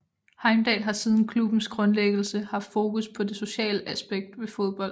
Heimdal har siden klubbens grundlæggelse haft fokus på det sociale aspekt ved fodbold